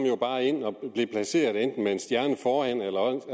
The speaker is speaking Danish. bare ind og blev placeret enten med en stjerne foran eller også